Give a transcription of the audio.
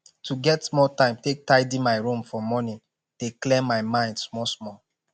to get small time take tidy my room for morning dey clear my mind small small